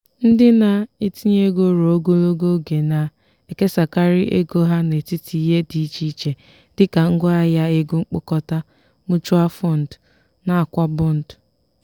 ndị na-etinye ego ruo ogologo oge na-ekesakarị ego ha n'etiti ihe dị iche iche dị ka ngwaahịa ahịa ego mkpokọta(mutual fund) nakwa bọndụ.